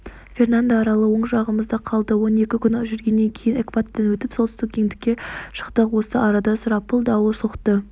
фернандо аралы оң жағымызда қалды он екі күн жүргеннен кейін экватордан өтіп солтүстік ендікке шықтық осы арада сұрапыл дауыл соқты